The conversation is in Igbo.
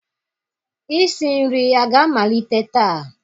Isi nri a ga-amalite taa?